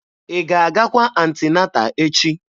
Ị ga-agakwa anti-nata echi?